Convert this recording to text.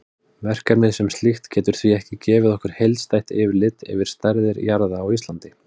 Verkefnið sem slíkt getur því ekki gefið okkur heildstætt yfirlit yfir stærðir jarða á Íslandi.